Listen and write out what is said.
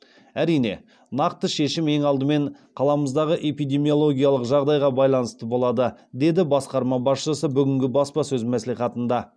әрине нақты шешім ең алдымен қаламыздағы эпдемиялогиялық жағдайға байланысты болады деді басқарма басшысы бүгінгі баспасөз мәслихатында